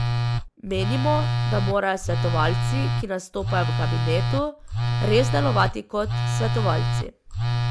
Menimo, da morajo svetovalci, ki nastopajo v kabinetu, res delovati kot svetovalci.